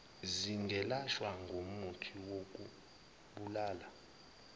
zingelashwa ngomuthi wokubulala